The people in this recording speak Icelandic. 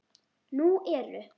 Nú eru